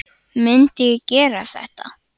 Myndi ég gera þetta?